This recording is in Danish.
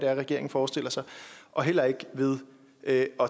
er regeringen forestiller sig og heller ikke ved at